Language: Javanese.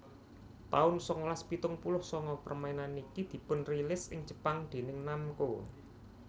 taun sangalas pitung puluh sanga Permainan niki dipunrilis ing Jepang déning Namco